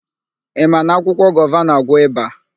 Ị ma na akwụkwọ gova na-àgwọ́ ịba?